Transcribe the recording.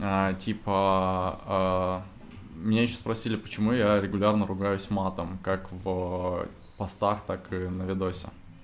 а типа меня ещё спросили почему я регулярно ругаюсь матом как в постах так и на видосе